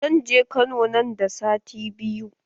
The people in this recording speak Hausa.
Zan je kano nan da sati biyu